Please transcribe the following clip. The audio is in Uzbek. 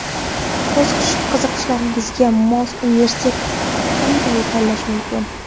O‘z qiziqishlariga mos universitetni qanday tanlash mumkin?